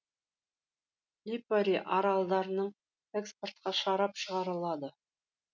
липари аралдарының экспортқа шарап шығарылады